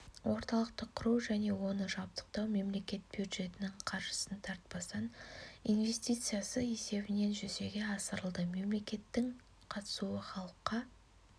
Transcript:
орталықты құру және оны жабдықтау мемлекет бюджетінің қаржысын тартпастан инвестициясы есебінен жүзеге асырылды мемлекеттің қатысуы халыққа